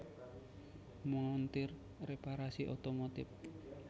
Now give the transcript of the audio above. Montir Reparasi Otomotif